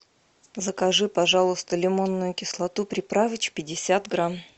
закажи пожалуйста лимонную кислоту приправыч пятьдесят грамм